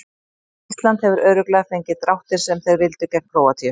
Ísland hefur örugglega fengið dráttinn sem þeir vildu gegn Króatíu.